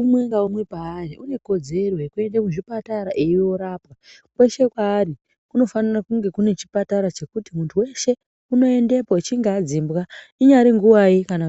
Umwe naumwe paari ane kodzero yekuenda kuzvipatara eindorapwa kweshe kwaari kunofana kunge kune chipatara ngekuti muntu weshe unoendapo achinge adzingwa inyari nguwai kana